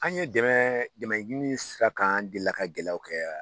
An ye dɛmɛ dɛmɛ ɲini sira kan anw de la ka gɛlɛyaw kɛ wa.